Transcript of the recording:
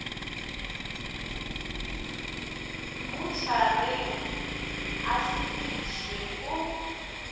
motšhareng a se išwe o